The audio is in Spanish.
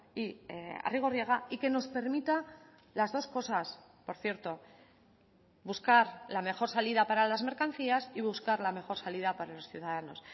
y arrigorriaga y que nos permita las dos cosas por cierto buscar la mejor salida para las mercancías y buscar la mejor salida para los ciudadanos